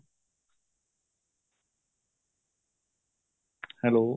hello